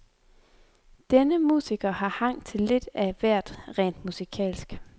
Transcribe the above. Denne musiker har hang til lidt af hvert rent musikalsk.